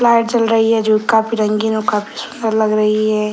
light जल रही है जो काफी रंगीन और काफी सुन्दर लग रही है |